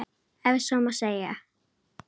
Ef svo má segja.